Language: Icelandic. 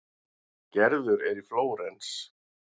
Gerður er í Flórens.